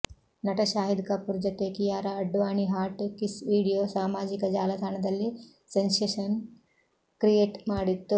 ನಟ ಶಾಹಿದ್ ಕಪೂರ್ ಜತೆ Kiara Advani hot kiss video ಸಾಮಾಜಿಕ ಜಾಲತಾಣದಲ್ಲಿ ಸೆನ್ಸೆಷನ್ ಕ್ರಿಯೆಟ್ ಮಾಡಿತ್ತು